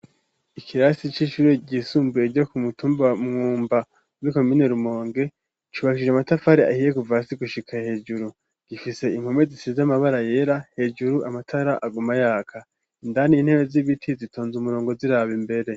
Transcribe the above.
ikirasi c'ishure ryisumbuye ryo ku mutumba wa mwumba muri komine rumonge cubashije amatafari ahiye Kuva hasi gushika hejuru gifise impome zisize amabara yera hejuru amatara aguma yaka indani intebe z'ibiti zitonze umurongo ziraba imbere.